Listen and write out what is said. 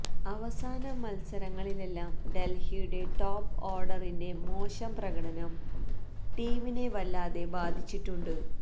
അവസാന മത്സരങ്ങളിലെല്ലാം ഡല്ഹിയുടെ ടോപ് ഓഡറിന്റെ മോശം പ്രകടനം ടീമിനെ വല്ലാതെ ബാധിച്ചിട്ടുണ്ട്